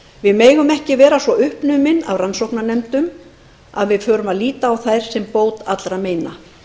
við megum ekki vera svo uppnumin af rannsóknarnefndum að við förum að líta á þær sem bót allra meina